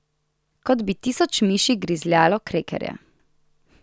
Kot bi tisoč miši grizljalo krekerje.